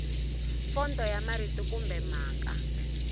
fonto ya marito kumbe mhaka